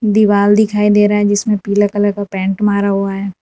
दीवाल दिखाई दे रहा है जिसमें पीला कलर का पेंट मारा हुआ है।